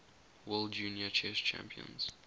world junior chess champions